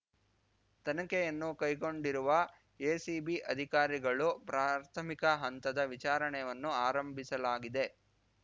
ತನಿಖೆಯನ್ನು ಕೈಗೊಂಡಿರುವ ಎಸಿಬಿ ಅಧಿಕಾರಿಗಳು ಪ್ರಾಥಮಿಕ ಹಂತದ ವಿಚಾರಣೆಯನ್ನು ಆರಂಭಿಸಲಾಗಿದೆ